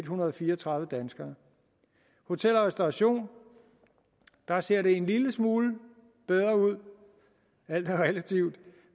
hundrede og fire og tredive danskere hotel og restauration der ser det en lille smule bedre ud alt er relativt